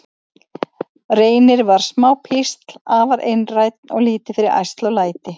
Reynir var smá písl, afar einrænn og lítið fyrir ærsl og læti.